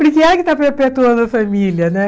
Porque ela que está perpetuando a família, né?